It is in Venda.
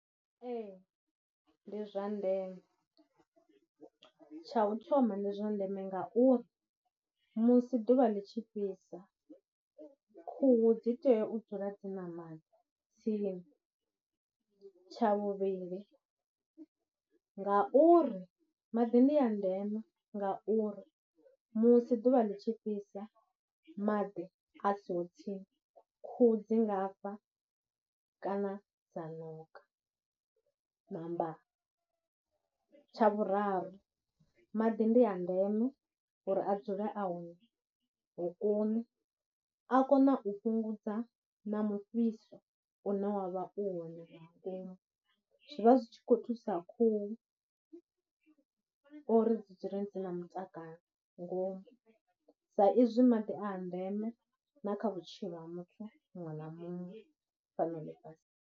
Ee, ndi zwa ndeme, tsha u thoma ndi zwa ndeme ngauri musi ḓuvha ḽi tshi fhisa khuhu dzi tea u dzula dzi na maḓi tsini, tsha vhuvhili ngauri maḓi ndi a ndeme ngauri musi ḓuvha ḽi tshi fhisa maḓi a siho tsini khuhu dzi nga fa kana dza ṋoka, ṋa. Tvhuraru maḓi ndi a ndeme uri a dzule a hone hokoni, a kona u fhungudza na mufhiso u ne wa vha u hone nga ngomu, zwi vha zwi tshi khou thusa khuhu uri dzi dzule dzi na mutakalo ngomu sa izwi maḓi a a ndeme na kha vhutshilo ha muthu muṅwe na muṅwe fhano ḽifhasi.